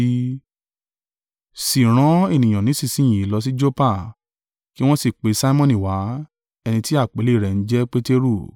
Sì rán ènìyàn nísinsin yìí lọ sí Joppa, kí wọn sì pe Simoni wá, ẹni ti àpèlé rẹ̀ ń jẹ́ Peteru.